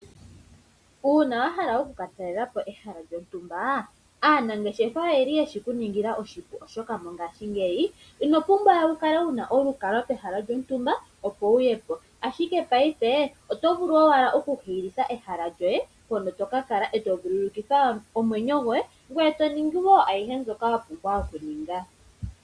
Uuna wa hala oku ka talela po ehala lyontumba aanangeshefa oyeshi ku ningila oshipu, oshoka mongashingeyi ino pumbwa we wu kale wu na olukalwa pehala lyontumba opo wuye po, ashike paife oto vulu owala okuhiilitha ehala lyoye mpono to kakala eto vululukitha omwenyo goye ngoye to ningi woo ayihe mbyoka wa pumbwa okuninga.